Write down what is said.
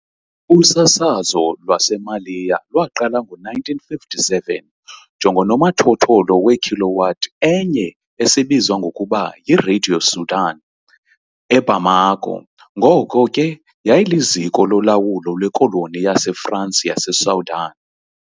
Usasazo lwaseMaliya lwaqala ngo-1957 njengonomathotholo wekilowatt enye esibizwa ngokuba "yiRadio Soudan" eBamako, ngoko ke yayiliziko lolawulo lwekoloni yaseFransi yaseSoudan .